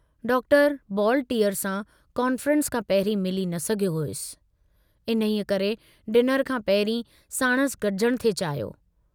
Doctor बॉलटीअर सां conference खां पहिरीं मिली न सघियो हुअसि, इन्हीअ करे डिनर खां पहिरीं साणुसि गजण थे चाहियो।